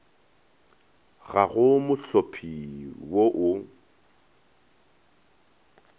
ga go mohlopi wo o